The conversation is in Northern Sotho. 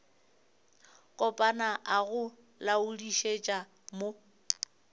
kopana a go laodišetša mo